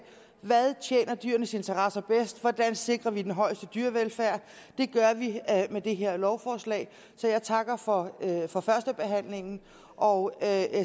hvad tjener dyrenes interesser bedst hvordan vi sikrer den højeste dyrevelfærd det gør vi med det her lovforslag så jeg takker for for førstebehandlingen og